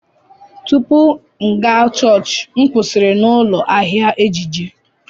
Tupu m aga chọọchị, m kwụsịrị na m ụlọ ahịa ejiji.